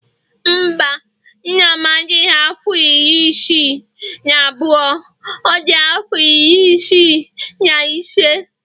Mba, nna m adighị afọ iri isii na abụọ, ọ dị afọ iri isii na ise